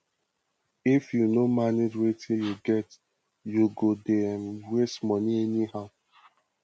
if yu no manage wetin yu get yu go dey um waste money anyhow